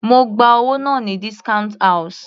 Mo gba owó náà ní discount house.